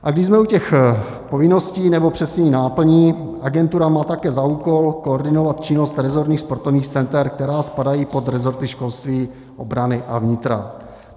A když jsme u těch povinností, nebo přesněji náplní, agentura má také za úkol koordinovat činnost resortních sportovních center, která spadají pod resorty školství, obrany a vnitra.